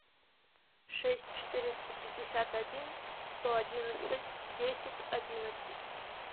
шесть четыреста пятьдесят один сто одиннадцать десять одиннадцать